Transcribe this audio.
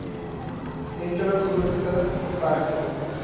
enkele grootste beperking